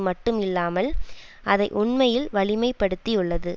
மட்டும் இல்லாமல் அதை உண்மையில் வலிமைப்படுத்தியுள்ளது